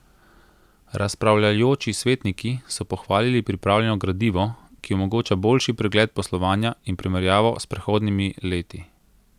Razpravljajoči svetniki so pohvalili pripravljeno gradivo, ki omogoča boljši pregled poslovanja in primerjavo s predhodnimi leti.